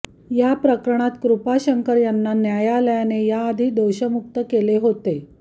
या प्रकरणात कृपाशंकर यांना न्यायालयाने याआधी दोषमुक्त केले होते